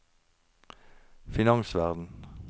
finansverden